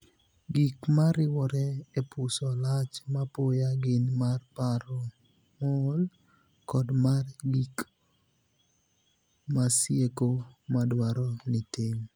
Gik mariwore e puso lach mapoya gin mar paro mool, kod mar gik masieko madwaro ni tim.